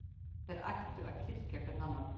Þeir ættu að styrkja hver annan.